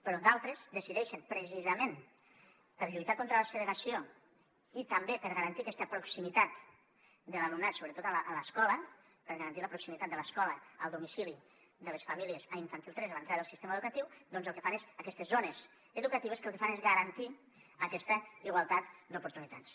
però d’altres decideixen precisament per lluitar contra la segregació i també per garantir aquesta proximitat de l’alumnat sobretot a l’escola per garantir la proximitat de l’escola al domicili de les famílies a infantil tres a l’entrada del sistema educatiu el que fan és aquestes zones educatives que el que fan és garantir aquesta igualtat d’oportunitats